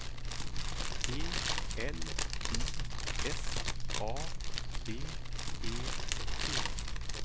E L I S A B E T